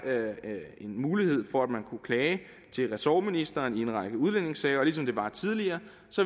en mulighed for at man kan klage til ressortministeren i en række udlændingesager og ligesom det var tilfældet tidligere